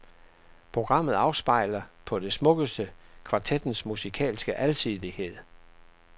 Programmet afspejler på det smukkeste kvartettens musikalske alsidighed.